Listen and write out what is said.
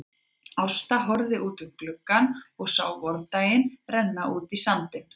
Ásta horfði út um gluggann og sá vordaginn renna út í sandinn.